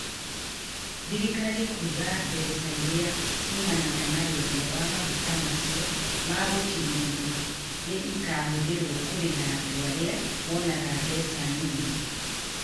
Thirikari Kuga Mbeca irĩa ciumanaga na wendia wa maguta macio ma gũkĩrĩrirĩra nĩ ikaahũthĩrwo kũrĩha andũ arĩa monaga mbeca nini